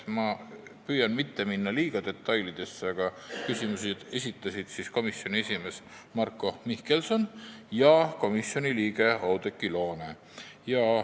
Ma püüan mitte minna liiga detailidesse, aga märgin, et küsimusi esitasid komisjoni esimees Marko Mihkelson ja komisjoni liige Oudekki Loone.